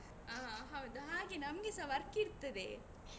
ಹಾ ಹೌದು ಹಾಗೆ ನಮ್ಗೆಸ work ಇರ್ತದೆ.